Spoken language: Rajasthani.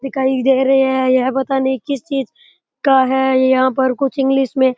दिखाई दे रहे है यह पता नहीं किस चीज की का है यहाँ पर कुछ इंग्लिश में --